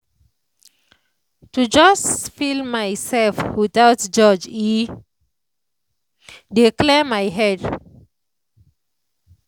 to just feel myself without judge e dey clear my head.